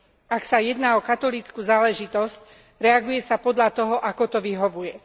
Ak ide o katolícku záležitosť, reaguje sa podľa toho, ako to vyhovuje.